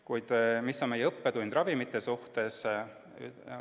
Kuid mis on meie õppetund ravimite teemal?